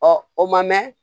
o ma mɛn